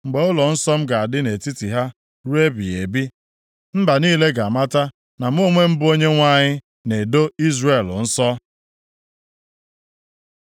Mgbe ụlọnsọ m ga-adị nʼetiti ha ruo ebighị ebi, mba niile ga-amata na mụ onwe m bụ Onyenwe anyị na-edo Izrel nsọ.’ ”